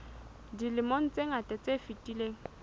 dilemong tse ngata tse fetileng